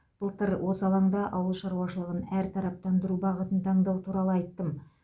былтыр осы алаңда ауыл шаруашылығын әртараптандыру бағытын таңдау туралы айттым